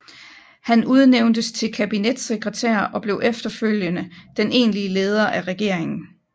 Han udnævntes til kabinetssekretær og blev efterhånden den egentlige leder af regeringen